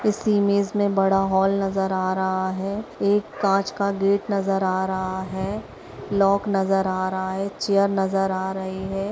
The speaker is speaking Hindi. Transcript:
इस इमेज मे बड़ा हॉल नज़र आ रहा हैं एक कांच का गेट नज़र आ रहा हैं लॉक नज़र आ रहा हैं चेयर नज़र आ रही हैं।